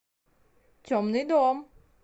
темный дом